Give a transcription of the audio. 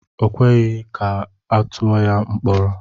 O kweghị ka atụọ ya mkpọrọ.